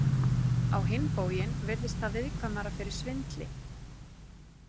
Á hinn bóginn virðist það viðkvæmara fyrir svindli.